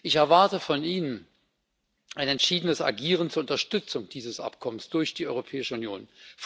Ich erwarte von Ihnen ein entschiedenes Agieren zur Unterstützung dieses Übereinkommens durch die Europäische Union.